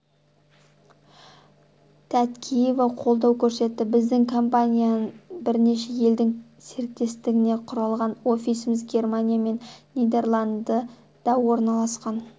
тәткеева қолдау көрсетті біздің компания бірнеше елдің серіктестігінен құралған офисіміз германия мен нидерланды да орналасқан